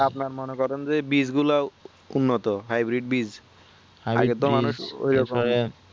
আপনারা মনে করেন যে বীজ গুলা উন্নত hybrid বীজ আগে তো মানুষ ওই আসলে